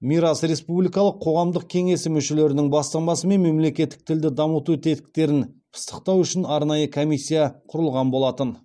мирас республикалық қоғамдық кеңесі мүшелерінің бастамасымен мемлекеттік тілді дамыту тетіктерін пысықтау үшін арнайы комиссия құрылған болатын